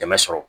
Dɛmɛ sɔrɔ